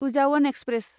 उजावन express